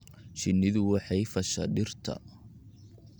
Shinnidu waxay fasha dhirta.